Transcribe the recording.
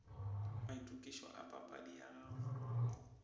maitokišo a papadi ya gago